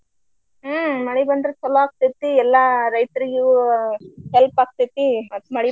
ಹ್ಮ ಮಳಿ ಬಂದ್ರ ಚೊಲೋ ಆಗ್ತೇತಿ. ಎಲ್ಲ ರೈತರಿಗು help ಆಗ್ತೇತಿ ಮತ್ತ ಮಳಿ ಬಂದ್ರೆ.